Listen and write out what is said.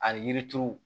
Ani yiri turu